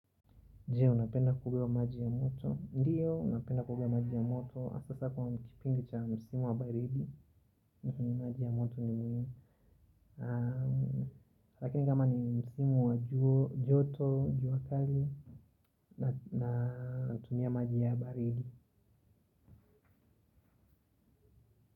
Je, unapenda kuoga maji ya moto. Ndiyo, napenda kuoga maji ya moto hasahasa kwa kipindi cha msimu wa baridi. Lakini maji ya moto ni mwilini. Lakini kama ni msimu wa joto, juakali natumia maji ya baridi.